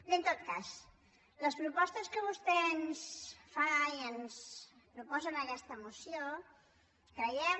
bé en tot cas les propostes que vostè ens fa i ens proposa en aquesta moció creiem